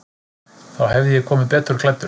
Þá hefði ég komið betur klæddur.